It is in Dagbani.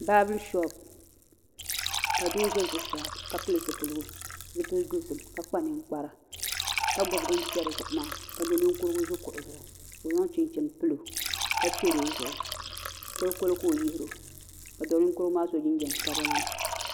Baabirin shoop ka doo ʒɛ zuɣusaa ka pili zipili dozim ka kpa ninkpara ka gbubi din chɛri zuɣu maa ka do ninkurigu ʒi kuɣu zuɣu ka o zaŋ chinchini pilo ka chɛri o zuɣu kolikoli ka o yihiro ka do ninkurigu maa so jinjɛm sabinli